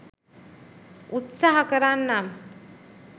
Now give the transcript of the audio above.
උත්සහ කරන්නම්